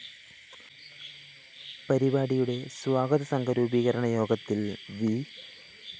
പരിപാടിയുടെ സ്വാഗത സംഘം രൂപീകരണ യോഗത്തില്‍ വി